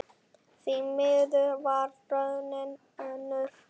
Því miður varð raunin önnur.